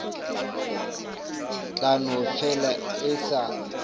tla no fela e sa